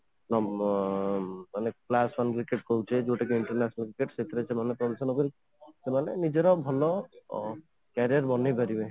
ତମ ଓଁ ମାନେ class one cricket କହୁଛେ ଯୋଉଟା କି international cricket ସେଇଥିରେ ସେମାନେ ପରିଶ୍ରମ କରି ସେମାନେ ନିଜର ଭଲ career ବନେଇପାରିବେ